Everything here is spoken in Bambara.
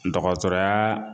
Dɔgɔtɔrɔyaa